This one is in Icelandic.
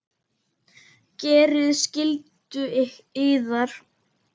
Gerið skyldu yðar!